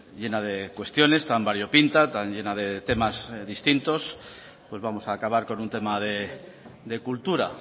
llena de cuestiones tan variopinta tan llena de temas distintos pues vamos a acabar con un tema de cultura